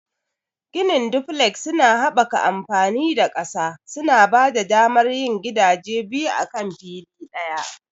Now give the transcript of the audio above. Ginin duflek suna haɓaka amfani da ƙasa, suna ba da damar yin gidaje biyu akan fili ɗaya.